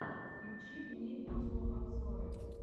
включи мне видеообзоры